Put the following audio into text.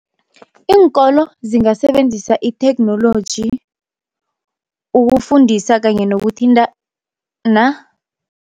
Iinkolo zingasebenzisa itheknoloji ukufundisa kanye nokuthintana.